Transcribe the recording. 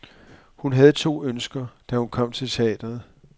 Hun havde to ønsker, da hun kom til teatret.